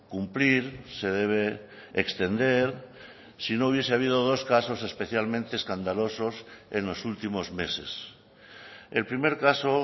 cumplir se debe extender si no hubiese habido dos casos especialmente escandalosos en los últimos meses el primer caso